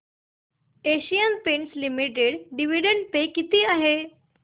Asian Paints Limited dividend pay किती आहे